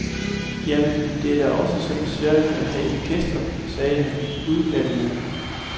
Jamen, det er da også så besværligt at have gæster, sagde han udglattende.